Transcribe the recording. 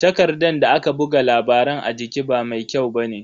Takardan da aka buga labaran a jiki ba mai kyau bane.